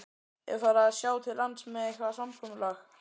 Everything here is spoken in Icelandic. Er farið að sjá til lands með eitthvað samkomulag?